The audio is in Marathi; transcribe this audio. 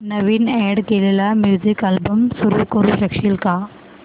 नवीन अॅड केलेला म्युझिक अल्बम सुरू करू शकशील का